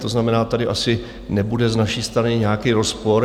To znamená, tady asi nebude z naší strany nějaký rozpor.